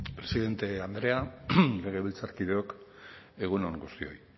presidente andrea legebiltzarkideok egun on guztioi